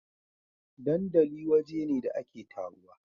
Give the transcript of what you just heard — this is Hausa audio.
dandali waje ne da ake taruwa